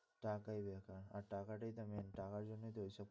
টাকাই বেকার আর টাকাটাই তো main টাকার জন্যই তো এইসব।